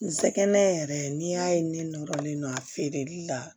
N sɛgɛn yɛrɛ n'i y'a ye ne nɔrɔlen don a feereli la